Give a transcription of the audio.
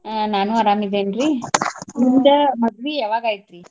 ಆಹ್ ನಾನು ಅರಾಮ್ ಇದೇನ್ರಿ. ನಿಮ್ದ ಮದ್ವಿ ಯಾವಾಗ ಆಯ್ತ್ರೀ?